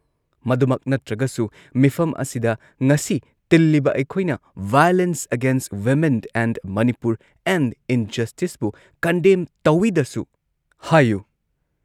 ꯃꯗꯨꯃꯛ ꯅꯠꯇ꯭ꯔꯒꯁꯨ ꯃꯤꯐꯝ ꯑꯁꯤꯗ ꯉꯁꯤ ꯇꯤꯜꯂꯤꯕ ꯑꯩꯈꯣꯏꯅ violence against women in Manipur and ꯢꯟꯖꯁꯇꯤꯁꯄꯨ ꯀꯟꯗꯦꯝ ꯇꯧꯏꯗꯁꯨ ꯍꯥꯏꯌꯨ ꯫